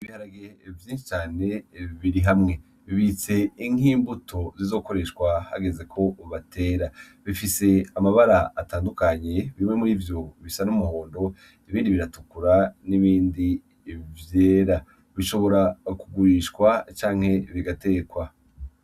Ibiharage vyinshi cane biri hamwe bibitse nk'imbuto zizokoreshwa hageze ko batera, bifise amabara atandukanye bimwe murivyo bisa n'umuhondo, ibindi biratukura n'ibindi vyera. Bishobora kugurishwa canke bigatekwa.